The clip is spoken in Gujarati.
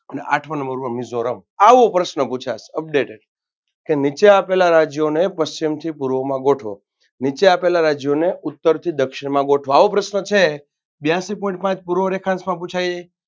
અને આઠમાં નંબર પર મિઝોરમ આવો પ્રશ્ન પૂછાય updated કે નીચે આપેલા રાજ્યોને પશ્ચિમથી પૂર્વમાં ગોઠવો નીચે આપેલા રાજ્યોને ઉત્તરથી દક્ષિણમાં ગોઠવો આવો પ્રશ્ન છે બ્યાસી point પાંચ પૂર્વ રેખાંશમાં પૂછાય.